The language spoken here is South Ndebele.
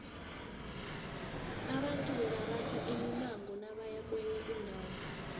abantu bebaratha imimango nabaya kwenye indawo